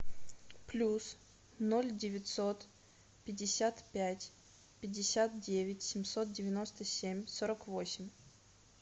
плюс ноль девятьсот пятьдесят пять пятьдесят девять семьсот девяносто семь сорок восемь